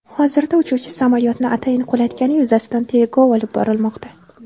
Hozirda uchuvchi samolyotni atayin qulatgani yuzasidan tergov olib borilmoqda.